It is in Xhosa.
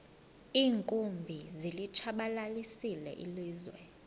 iinkumbi zilitshabalalisile ilizwe